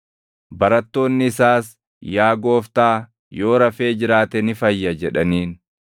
Barattoonni isaas, “Yaa Gooftaa, yoo rafee jiraate ni fayya” jedhaniin.